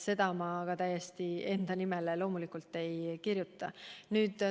Seda ma täielikult enda nimele loomulikult ei kirjuta.